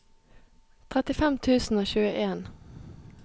trettifem tusen og tjueen